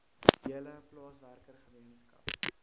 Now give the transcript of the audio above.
hele plaaswerker gemeenskap